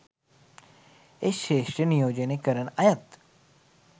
ඒ ක්‍ෂේත්‍ර නියෝජනය කරන අයත්